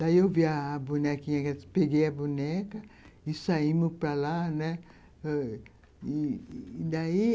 Daí eu vi a a bonequinha, peguei a boneca e saímos para lá, né. E daí